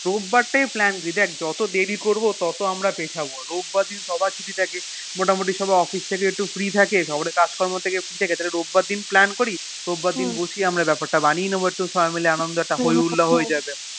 রোববার তাই Plan দি দেখ যত দেরি করবো তত আমরা পেলক্ষ্য রোববার দি সবার ছুটি থাকে মোটামুটি সত্যি Office থেকে রী থাকে কাজ কর্ম থেকে ফ্রি থাকে এ কষলে রোববার দিন Plan করি রোববার দিন মাইল বানিয়ে নেবো বেপার তা একটা হয় হুল্লোড়হয়েযাক